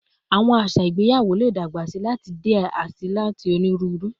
Awọn aṣa igbeyawo le dagbasi lati jẹ diẹ sii ati oniruuru